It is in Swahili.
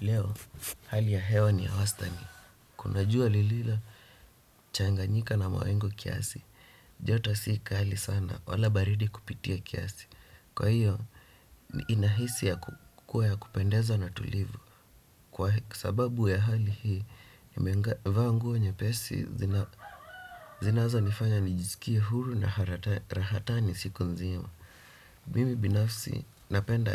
Leo hali ya hewa ni ya wastani. Kuna jua lililochanganyika na mawingu kiasi. Joto si kali sana, wala baridi kupitia kiasi. Kwa hiyo, inahisi kuwa ya kupendeza na tulivu. Kwa sababu ya hali hii, nimevaa nguo nyepesi zinazonifanya nijisikie huru na rahatani siku nzima. Mimi binafsi, napenda